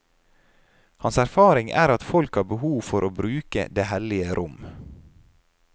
Hans erfaring er at folk har behov for å bruke det hellige rom.